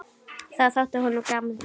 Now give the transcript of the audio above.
Það þótti honum gaman.